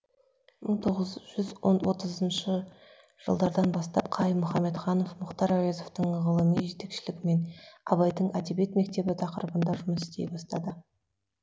мың тоғыз жүз отызыншы жылдардан бастап қайым мұхаммедханов мұхтар әуезовтің ғылыми жетекшілігімен абайдың әдебиет мектебі тақырыбында жұмыс істей бастады